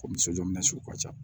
Ko ni sojɔ minɛ sugu ka ca